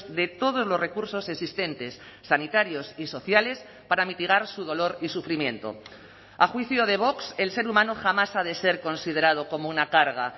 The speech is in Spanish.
de todos los recursos existentes sanitarios y sociales para mitigar su dolor y sufrimiento a juicio de vox el ser humano jamás ha de ser considerado como una carga